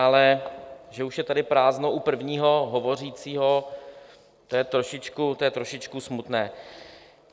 Ale že už je tady prázdno u prvního hovořícího, to je trošičku smutné.